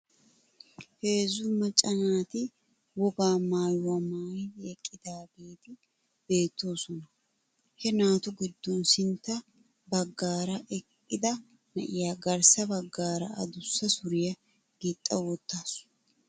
Heezzu macca naati wogga maayuwaa maayidi eqqidaageeti bewttoosona. He naatu giddon sintta bafaara eqqida na'iyaa garssa bagaara adussa suriyaa gixxawttasu.